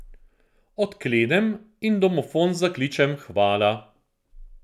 Odklenem in v domofon zakličem hvala.